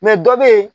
dɔ bɛ yen